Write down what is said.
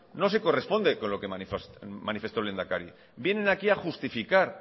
no se corresponde con lo que manifestó el lehendakari vienen aquí a justificar